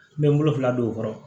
N bɛ n bolo fila don o kɔrɔ